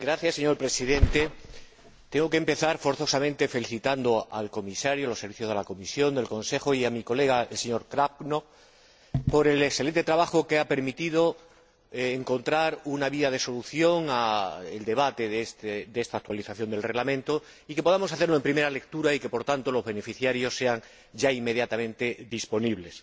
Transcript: Señor Presidente, tengo que empezar forzosamente felicitando al Comisario, a los Servicios de la Comisión y al Consejo y a mi colega, el señor Cabrnoch, por el excelente trabajo que ha permitido encontrar una vía de solución al debate de esta actualización del Reglamento y que podamos hacerlo en primera lectura y que, por tanto, los beneficios estén ya inmediatamente disponibles.